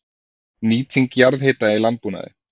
Nýting jarðhita í landbúnaði